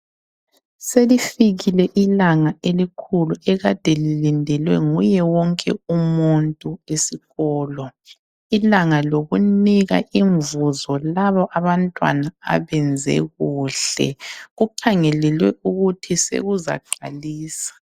Selifikile ilanga elikhulu ekade lilindelwe nguye wonke umuntu esikolo. Ilanga lokunika imvuzo labo abantwana abenze kuhle kukhangelelwe ukuthi sekuzaqalisa.